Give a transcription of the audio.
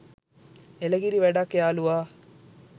එළකිරි වැඩක් යාලුවා